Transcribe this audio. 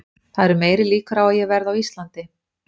Það eru meiri líkur á að ég verði á Íslandi.